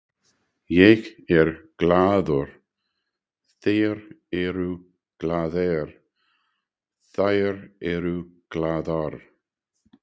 Ég er glaður, þeir eru glaðir, þær eru glaðar.